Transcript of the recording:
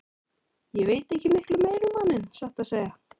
Ég veit ekki miklu meira um manninn, satt að segja.